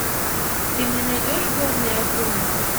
ты мне найдешь горные акулы